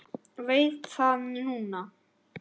Veit það núna.